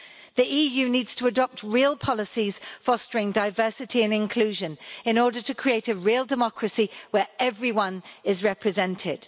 The EU needs to adopt real policies fostering diversity and inclusion in order to create a real democracy where everyone is represented.